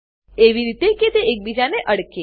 એવી રીતે કે તે એકબીજાને અડકે